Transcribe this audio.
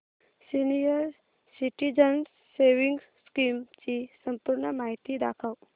senior citizens savings scheme ची संपूर्ण माहिती दाखव